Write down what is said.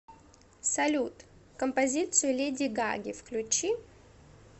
салют композицию леди гаги включи